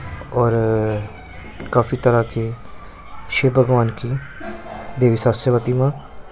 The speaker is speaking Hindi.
और काफी तरह के शिव भगवान की देवी सास्यवती मां--